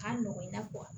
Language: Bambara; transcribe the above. K'a nɔgɔ i n'a fɔ